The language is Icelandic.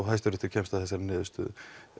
hæsti réttur kemst að þessari niðurstöðu